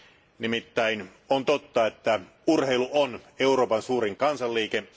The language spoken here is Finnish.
On nimittäin totta, että urheilu on Euroopan suurin kansanliike.